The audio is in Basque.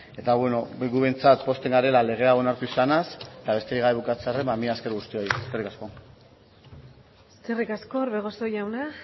eta beno gu behintzat pozten garela lege hau onartu izanaz eta besterik gabe bukatzearren mila esker guztioi eskerrik asko eskerrik asko orbegozo jauna